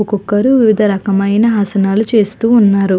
ఒక్కొక్కరు వివిధ రకమైన ఆసనాలు చేస్తూ ఉన్నారు.